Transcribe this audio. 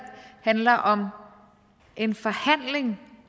handler om en forhandling